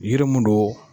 Yiri mun don